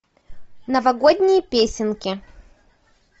новогодние песенки